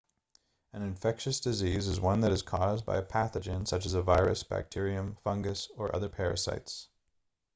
an infectious disease is one that is caused by a pathogen such as a virus bacterium fungus or other parasites